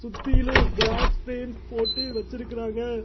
சுத்தீலு cross frames போட்டு வெச்சிருக்கறாங்க.